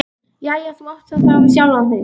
Jæja þú átt það þá við sjálfa þig.